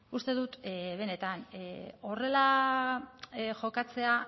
uste dut benetan horrela jokatzea